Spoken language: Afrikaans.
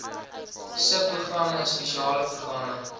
subprogramme spesiale programme